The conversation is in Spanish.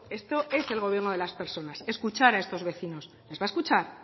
esto es el gobierno de las personas escuchar a estos vecinos los va a escuchar